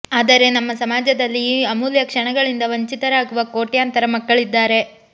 ಆದರೆ ನಮ್ಮ ಸಮಾಜದಲ್ಲಿ ಈ ಅಮೂಲ್ಯ ಕ್ಷಣಗಳಿಂದ ವಂಚಿತರಾಗುವ ಕೋಟ್ಯಂತರ ಮಕ್ಕಳಿದ್ದಾರೆ